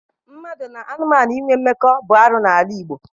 Mmadụ na anụmanụ inwe mmekọ bụ arụ n'ala Igbo.